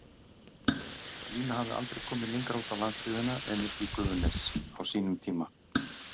Lína hafði aldrei komið lengra út á landsbyggðina en uppí Gufunes, á sínum tíma.